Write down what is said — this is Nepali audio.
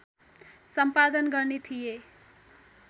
सम्पादन गर्ने थिए